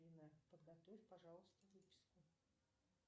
афина подготовь пожалуйста выписку